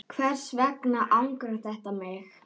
Hvers vegna angrar þetta mig?